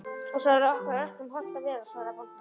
Og svo er okkur öllum hollt að vera, svaraði bóndinn.